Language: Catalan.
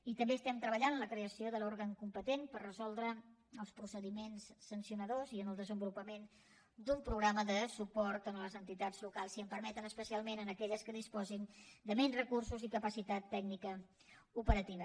i també estem treballant en la creació de l’òrgan competent per resoldre els procediments sancionadors i en el desenvolupament d’un programa de suport a les entitats locals si em permeten especialment a aquelles que disposin de menys recursos i capacitat tècnica operativa